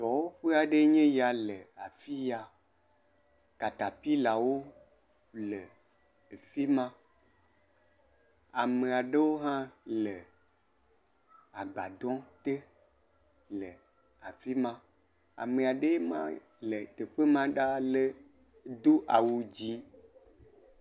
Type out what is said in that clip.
Dɔwɔƒe aɖee nye ya le afi ya, katapilawo le afi ma, ame aɖewo hã le agbadɔ te le afi ma, ame aɖee ma le teƒe ma ɖaa do awu dzɛ̃.